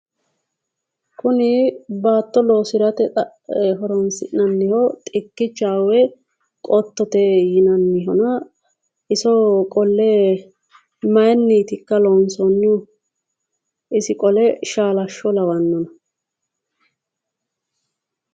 Kuni baatto loosirate horonsi'nanniho xikkicha woyi qottote yinannihona iso qolle maayiinniitikka loonsoyiihu? isi qole shaalashsho lawanno?